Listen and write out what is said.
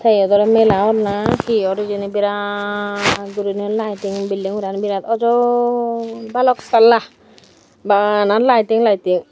te iyot oley mela or na he or hijeni birat uriney laytiing bilding goran birat ojol balok salla bana laiting laiting.